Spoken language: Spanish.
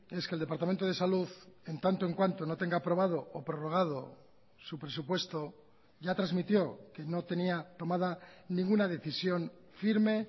es que el departamento de salud en tanto en cuanto no tenga aprobado o prorrogado su presupuesto ya transmitió que no tenía tomada ninguna decisión firme